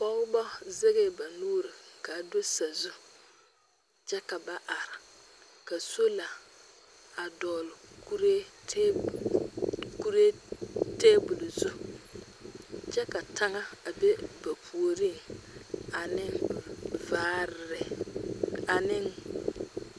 Pɔgeba zɛgɛɛ ba nuuri ka a do sazu kyɛ ka ba are ka sola a dogli kuree tɛbol zu kyɛ ka taŋa be ba puoriŋ ane vaare ane